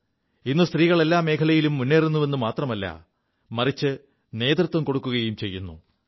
ഇ് സ്ത്രീകൾ എല്ലാ മേഖലകളിലും മുേറുുവെു മാത്രമല്ല മറിച്ച് നേതൃത്വം കൊടുക്കുകയും ചെയ്യുു